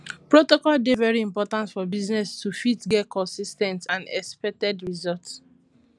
protocol dey very important for business to fit get consis ten t and expected result